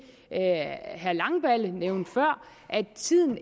herre langballe nævnte før om at tiden